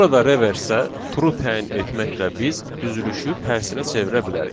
Burada reverseə true təyin etməklə biz düzülüşü tərsinə çevirə bilərik.